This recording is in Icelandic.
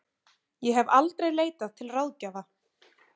Ég hef aldrei leitað til ráðgjafa.